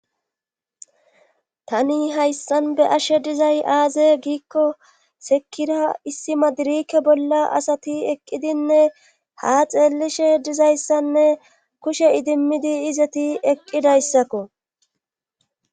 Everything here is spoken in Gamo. tani hayssan be'ashe dizay aaze giikko sekira issi madirike bolla asati eqqidinne ha xeellishe dizayssanne kushe idimmidi izati eqqidayssakko